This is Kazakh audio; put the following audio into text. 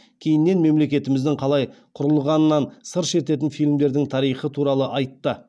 кейіннен мемлекетіміздің қалай құрылғанынан сыр шертетін фильмдердің тарихы туралы айтты